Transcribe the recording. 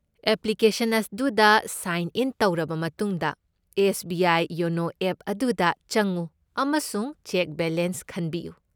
Application ꯑꯗꯨꯗ sign in ꯇꯧꯔꯕ ꯃꯇꯨꯡꯗ S. B. I. YONO app ꯑꯗꯨꯗ ꯆꯪꯉꯨ ꯑꯃꯁꯨꯡ ꯆꯦꯛ ꯕꯦꯂꯦꯟꯁ ꯈꯟꯕꯤꯌꯨ꯫